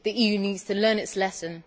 The EU needs to learn its lesson.